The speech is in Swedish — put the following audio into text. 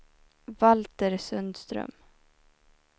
Valter Sundström